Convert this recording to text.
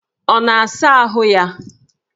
Ọ na-asa ahụ ya?